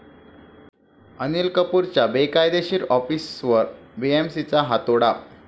अनिल कपूरच्या बेकायदेशीर ऑफिसवर बीएमसीचा हातोडा